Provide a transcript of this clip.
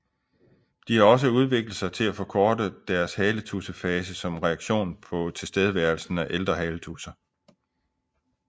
De har også udviklet sig til at forkorte deres haletudsefase som reaktion på tilstedeværelsen af ældre haletudser